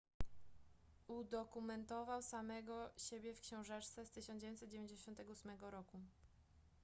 udokumentował samego siebie w książeczce z 1998 r